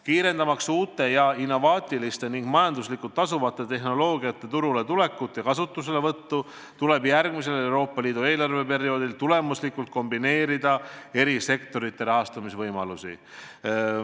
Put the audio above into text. Kiirendamaks uute ja innovaatiliste ning majanduslikult tasuvate tehnoloogiate turule tulekut ja kasutuselevõttu, tuleb järgmisel Euroopa Liidu eelarveperioodil tulemuslikult kombineerida eri sektorite rahastamisvõimalusi.